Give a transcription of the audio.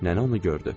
Nənə onu gördü.